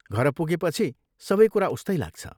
घर पुगेपछि सबै कुरा उस्तै लाग्छ।